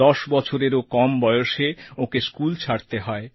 ১০ বছরেরও কম বয়সেই ওঁকে স্কুল ছাড়তে হয়